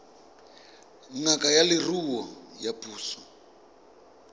ngaka ya leruo ya puso